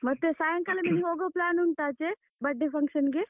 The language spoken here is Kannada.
ಮತ್ತೆ ಸಾಯಂಕಾಲ ನೀನು ಹೋಗುವ plan ಉಂಟಾ ಆಚೆ birthday function ಗೆ?